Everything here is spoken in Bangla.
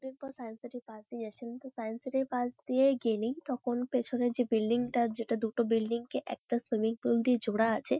অনেকদিন পরে সায়েন্স সিটি -র পাশ দিয়ে যাচ্ছিলাম। তো সায়েন্স সিটি -র পাশ দিয়ে গেলেই তখন পেছনের যে বিল্ডিং -টা যেটা দুটো বিল্ডিং -কে একটা সুইমিং পুল দিয়ে জোড়া আছে--